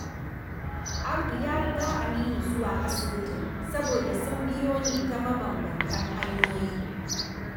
Audu ya riga Aminu zuwa asibitin saboda sun biyo ne ta mabanbantan hanyoyi